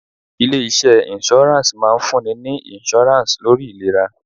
Ilé iṣẹ́ insurance máa ń fún ni ní insurance lórí ìlera.